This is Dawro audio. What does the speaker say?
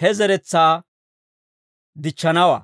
he zeretsaa dichchanawaa.